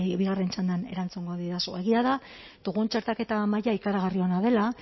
bueno bigarren txandan erantzungo didazu egia da txertaketa maila ikaragarri ona dela